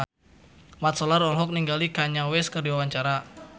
Mat Solar olohok ningali Kanye West keur diwawancara